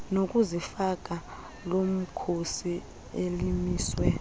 nokuzifaka lomkhosi elimiswe